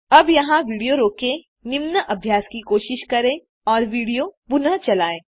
अब यहाँ विडियो रोकें निम्न अभ्यास की कोशिश करें और विडियो पुनः चलायें